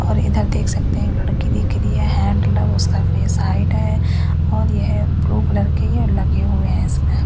और इधर देख सकते हैं लड़की लिख रही है हैंड लव उसका फेस हाइड है और ये ब्लू कलर के लगे हुए हैं इसमें--